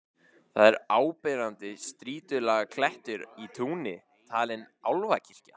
Þar er áberandi strýtulaga klettur í túni, talinn álfakirkja.